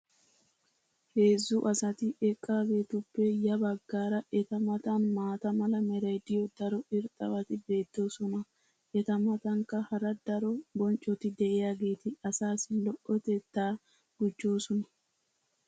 Heezzu asati eqqaageetuppe ya bagaara eta matan maata mala meray diyo daro irxxabati beetoosona. eta matankka hara ddaro bonccoti diyaageeti asaassi lo'otettaa gujjoosona.